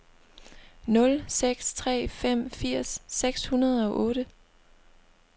nul seks tre fem firs seks hundrede og otte